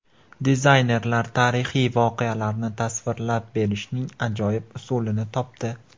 Dizaynerlar tarixiy voqealarni tasvirlab berishning ajoyib usulini topdi .